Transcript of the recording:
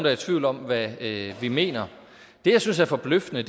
er i tvivl om hvad vi mener det jeg synes er forbløffende